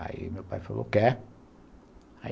Aí meu pai falou quer.